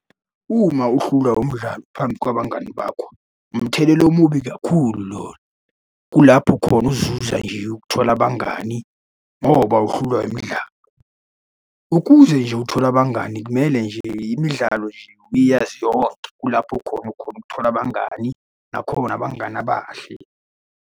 Uma uhlulwa umdlalo phambi kwabangani bakho, umthelela omubi kakhulu loyo. Kulapho khona uzuza nje ukuthola abangani ngoba uhlulwa imidlalo, ukuze nje uthole abangani kumele nje imidlalo nje uyazi yonke, kulapho khona ukhona ukuthola abangani, nakhona abangani abahle.